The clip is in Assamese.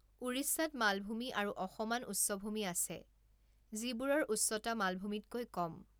উৰিষ্যাত মালভূমি আৰু অসমান উচ্চভূমি আছে, যিবোৰৰ উচ্চতা মালভূমিতকৈ কম।